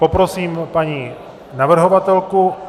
Poprosím paní navrhovatelku.